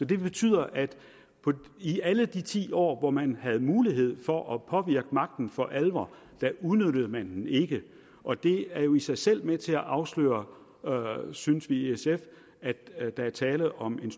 det betyder at i alle de ti år hvor man havde mulighed for at påvirke magten for alvor udnyttede man den ikke og det er jo i sig selv med til at afsløre synes vi i sf at der er tale om en